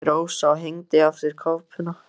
sagði Rósa og hengdi af sér kápuna.